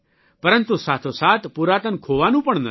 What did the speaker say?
પરંતુ સાથોસાથ પુરાતન ખોવાનું પણ નથી